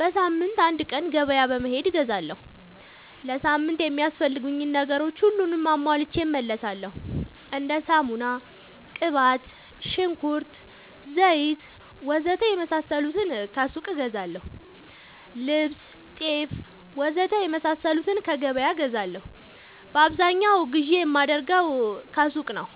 በሳምንት አንድ ቀን ገበያ በመሄድ እገዛለሁ። ለሳምንት የሚያስፈልጉኝ ነገሮች ሁሉንም አሟልቼ እመለሣለሁ። እንደ ሳሙና፣ ቅባት፣ ሽንኩርት፣ ዘይት,,,,,,,,, ወዘተ የመሣሠሉትን ከሱቅ እገዛለሁ። ልብስ፣ ጤፍ,,,,,,,,, ወዘተ የመሣሠሉትን ከገበያ እገዛለሁ። በአብዛኛው ግዢ የማደርገው ሱቅ ነው።